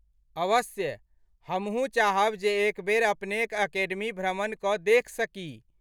अवश्य ,हमहूँ चाहब जे एक बेर अपनेक अकेडमी भ्रमण कऽ देखि सकी।